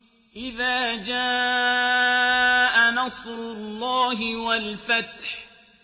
إِذَا جَاءَ نَصْرُ اللَّهِ وَالْفَتْحُ